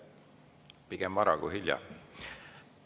Pigem vara kui hilja.